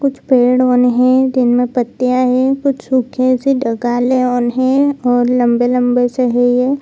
कुछ पेड़ उड़ है जिनमे पत्तियां है कुछ सूखे से ओन है और लम्बे-लम्बे से है ये।